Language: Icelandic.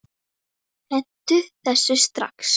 Hentu þessu strax!